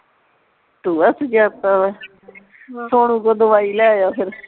ਟੂਆ ਸੁਜਾ ਤਾ ਸੋਨੂ ਕੋ ਦੁਆਈ ਲੈ ਆ ਫਿਰ